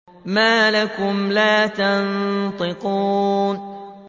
مَا لَكُمْ لَا تَنطِقُونَ